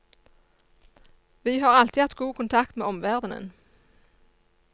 Vi har alltid hatt god kontakt med omverdenen.